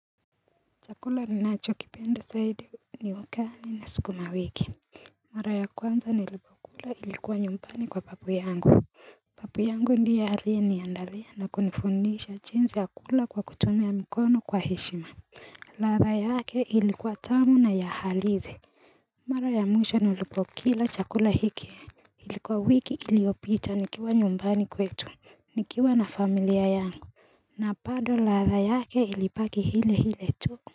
Chakula ninacho kipenda zaidi ni wakani na sikuma wiki Mara ya kwanza nilipokula ilikuwa nyumbani kwa babu yangu babu yangu ndiye aliye niandalia na kunifundisha jinsi ya kukula kwa kutumia mkono kwa heshima ladha yake ilikuwa tamu na yahalizi Mara ya mwisho nilipokila chakula hiki Ilikuwa wiki iliopita nikiwa nyumbani kwetu Nikiwa na familia yangu na bado ladha yake ilibaki hile hile tu.